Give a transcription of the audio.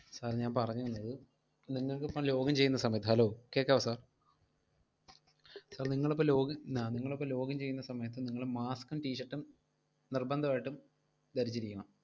Sir ഞാൻ പറഞ്ഞു വന്നത്, നിങ്ങൾക്കിപ്പം login ചെയ്യുന്ന സമയത്ത് Hello കേക്കാവോ sir sir നിങ്ങളിപ്പോ login ആഹ് നിങ്ങളിപ്പോ login ചെയ്യുന്ന സമയത്ത് നിങ്ങള് mask ഉം t-shirt ഉം നിർബന്ധമായിട്ടും ധരിച്ചിരിക്കണം.